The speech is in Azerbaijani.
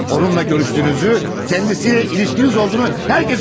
Onunla görüşdüyünüzü, kəndisiylə ilişkiniz olduğunu hər kəs bilir.